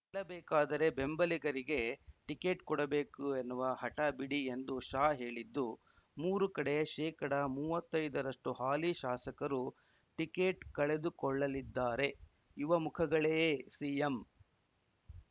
ಗೆಲ್ಲಬೇಕಾದರೆ ಬೆಂಬಲಿಗರಿಗೆ ಟಿಕೆಟ್‌ ಕೊಡಬೇಕು ಎನ್ನುವ ಹಟ ಬಿಡಿ ಎಂದು ಶಾ ಹೇಳಿದ್ದು ಮೂರು ಕಡೆ ಶೇಕಡ ಮೂವತ್ತೈದು ರಷ್ಟುಹಾಲಿ ಶಾಸಕರು ಟಿಕೆಟ್‌ ಕಳೆದುಕೊಳ್ಳಲಿದ್ದಾರೆ ಯುವ ಮುಖಗಳೇ ಸಿಎಂ